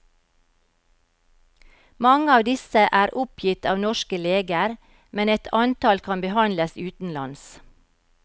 Mange av disse er oppgitt av norske leger, men et antall kan behandles utenlands.